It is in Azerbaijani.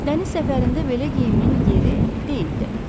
Dəniz səfərində belə geyimin yeri deyildi.